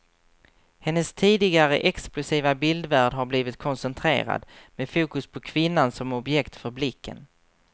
Hennes tidigare explosiva bildvärld har blivit koncentrerad, med fokus på kvinnan som objekt för blicken.